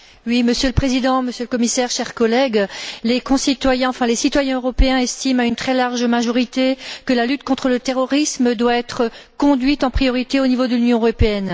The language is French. Monsieur le Président, Monsieur le Commissaire, chers collègues, les citoyens européens estiment, à une très large majorité, que la lutte contre le terrorisme doit être conduite en priorité au niveau de l'Union européenne.